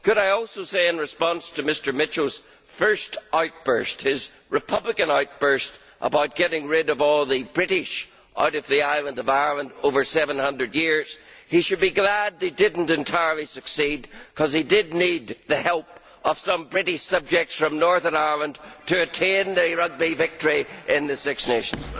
Could I also say, in response to Mr Mitchell's first outburst his Republican outburst about getting rid of all the British out of the island of Ireland over 700 years that he should be glad they did not entirely succeed because he did need the help of some British subjects from Northern Ireland to attain the rugby victory in the Six Nations.